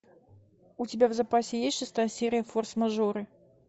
у тебя в запасе есть шестая серия форс мажоры